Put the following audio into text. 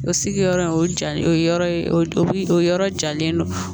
O sigiyɔrɔ in o ja o yɔrɔ ye o yɔrɔ jalen don